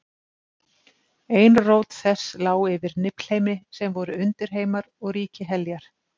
Ein rót þess lá yfir Niflheimi, sem voru undirheimar og ríki Heljar.